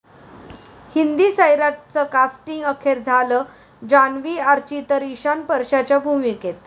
हिंदी 'सैराट'चं कास्टिंग अखेर झालं, जान्हवी 'आर्ची', तर इशान परशाच्या भूमिकेत!